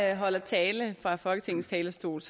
jeg holder tale fra folketingets talerstol